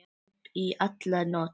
Kastaði upp í alla nótt.